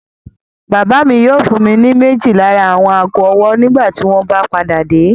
Bàbá mi yóò fún mi ní méjì lára àwọn ago-ọwọ́ nígbà tí wọ́n bá padà dé.